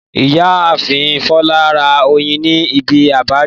Ìyáàfin Fọlá ra oyin ní ibi ápíárì